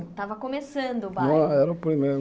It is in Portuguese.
Estava começando o bairro. Era o primeiro